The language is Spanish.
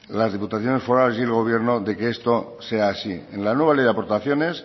las diputaciones forales y el gobierno de que esto sea así en la nueva ley de aportaciones